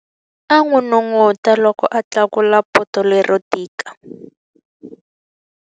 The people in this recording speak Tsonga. A n'unun'uta loko a tlakula poto lero tika.